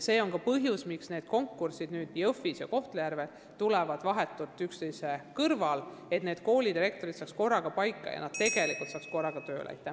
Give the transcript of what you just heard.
See on ka põhjus, miks konkursid Jõhvis ja Kohtla-Järvel tulevad vahetult üksteise järel – et nende koolide direktorid saaksid korraga paika ja ka korraga tööle hakata.